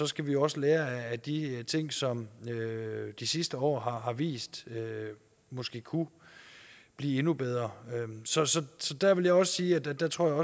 skal vi også lære af de ting som de sidste år har vist måske kunne blive endnu bedre så så der vil jeg også sige at jeg tror